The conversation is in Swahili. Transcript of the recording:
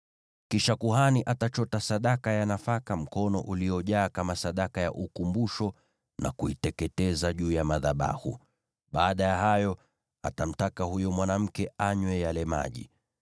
Kisha kuhani atachota sadaka ya nafaka mkono uliojaa kama sehemu ya kumbukumbu na kuiteketeza juu ya madhabahu, baada ya hayo, atamtaka huyo mwanamke anywe yale maji.